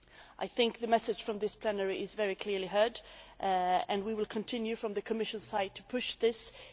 I think the message from this plenary has been very clearly heard, and we will continue on the Commission side to push this issue.